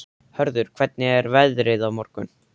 Hörður, hvernig er veðrið á morgun?